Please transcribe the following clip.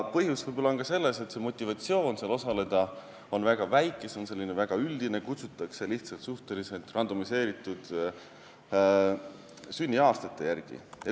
Põhjus võib olla ka selles, et motivatsioon uuringus osaleda on väga väike, see on selline väga üldine, kutsutakse lihtsalt suhteliselt juhuslikult valitud sünniaastate järgi.